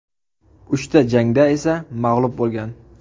Uchta jangda esa mag‘lub bo‘lgan.